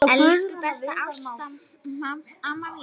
Elsku besta Ásta amma mín.